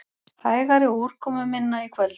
Hægari og úrkomuminna í kvöld